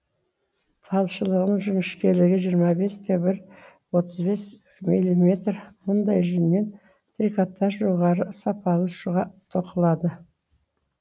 талшығының жіңішкелігі жиырма бес те бір отыз бес милиметр мұндай жүннен трикотаж жоғары сапалы шұға тоқылады